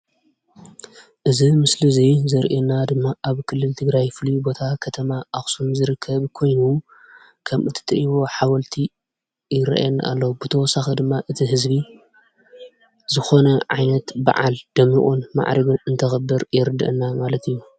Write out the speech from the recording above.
እዚ ምስሊ እዚ ዘርእየና ድማ ኣብ ክልል ትግራይ ፍሉይ ቦታ ከተማ አክሱም ዝርከብ ኮይኑ ከም እትሪእዎ ሓወልቲ ይርአየና ኣሎ፡፡ ብተወሳኺ ድማ እቲ ህዝቢ ዝኾነ ዓይነት በዓል ደሚቑን ማዕሪጉን እንተኽብር የርድአና ማለት እዩ፡፡